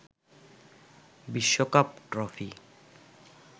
বিশ্বকাপ ট্রফি